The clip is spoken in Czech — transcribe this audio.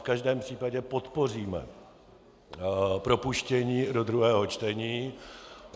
V každém případě podpoříme propuštění do druhého čtení.